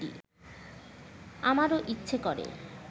আমারও ইচ্ছে করে